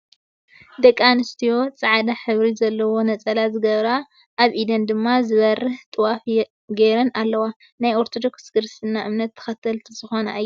ደቂ ኣንስትዮ ፃዕዳሕብሪ ዘለዎ ነፀላ ዝገበራ ኣብኢደን ድማ ዝበረሀ ጥዋፍ ገይረን ኣለዋ። ናይ ኦርቶዶክስ ክርስትና እምነት ተክትልቲ ዝኮነ እየን ።